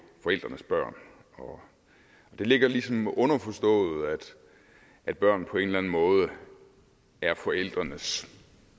forældrenes børn og det ligger ligesom underforstået at børn på en måde er forældrenes